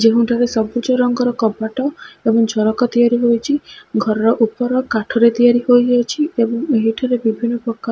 ଯେଉଁଠାରେ ସବୁଜ ରଙ୍ଗର କବାଟ ଏବଂ ଝରକା ତିଆରି ହୋଇଚି। ଘରର ଉପର କାଠରେ ତିଆରି ହୋଇଅଛି ଏବଂ ଏହି ଠାରେ ବିଭିନ୍ନ ପ୍ରକା --